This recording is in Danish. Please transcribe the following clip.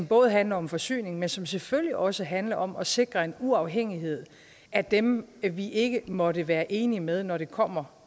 både handler om forsyning men selvfølgelig også handler om at sikre en uafhængighed af dem vi ikke måtte være enige med når det kommer